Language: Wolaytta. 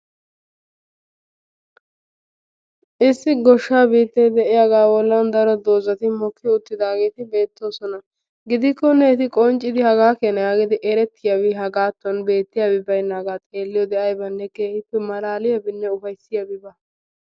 Issi goshshaa biittay de'iyaga bolan daro mokki uttidaageti beetoosona. gidikkonne eti qoncciyan beetiyabi aybbinne baawa. hagee maalalissiyaba.